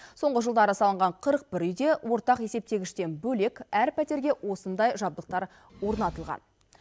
соңғы жылдары салынған қырық бір үйде ортақ есептегіштен бөлек әр пәтерге осындай жабдықтар орнатылған